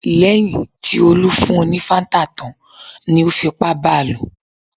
Nígbà tí Olú fún un ní Fanta tán ni ó fipá ba lò.